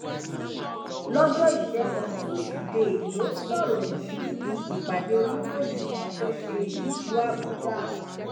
lọjọ ìṣẹgun tusidee ló sọrọ yìí níbi ìpàdé oníròyìn kan tó ṣe nílùú àbújá